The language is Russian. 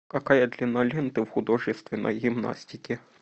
какая длина ленты в художественной гимнастике